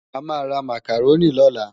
Amá rá Mákáróni lólá